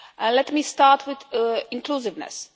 Let me start with inclusiveness.